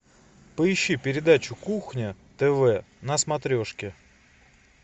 поищи передачу кухня тв на смотрешке